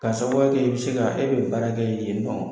K'a sababuya kɛ i bɛ se ka e bɛ baara kɛ yen nɔ.